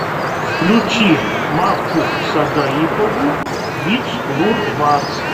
включи макку сагаипову виц лур вац